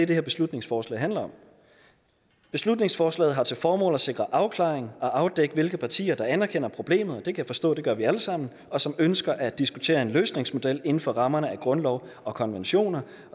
det her beslutningsforslag handler om beslutningsforslaget har til formål at sikre afklaring og afdækning af hvilke partier der anerkender problemet og det kan jeg forstå at vi alle sammen og som ønsker at diskutere en løsningsmodel inden for rammerne af grundlov og konventioner